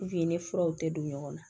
i ni furaw tɛ don ɲɔgɔn na